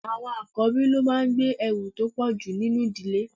Àwọn àkọ́bí ló máa ń gbé ẹrù tó pọ̀jù nínú ìdílé.